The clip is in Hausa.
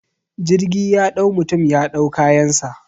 Jirgi ya dau mutum ya dau kayansa